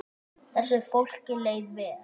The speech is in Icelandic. Þessu fólki leið vel.